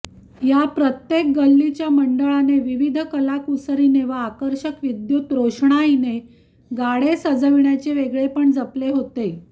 या प्रत्येक गल्लीच्या मंडळाने विविध कलाकुसरीने व आकर्षक विद्युत रोषणाईने गाडे सजविण्याचे वेगळेपण जपले होते